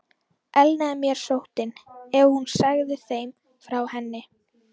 Elnaði mér sóttin, ef hún segði þeim frá henni?